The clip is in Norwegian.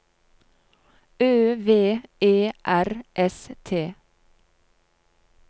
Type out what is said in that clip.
Ø V E R S T